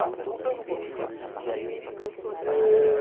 Ah, voltando um pouquinho. Eh...